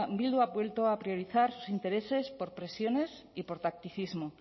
bildu ha vuelto a priorizar sus intereses por presiones y por tacticismo